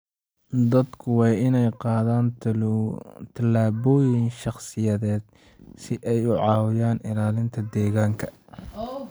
Dadku waa inay qaadaan tallaabooyin shaqsiyeed si ay u caawiyaan ilaalinta deegaanka.